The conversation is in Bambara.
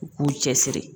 U k'u cɛ siri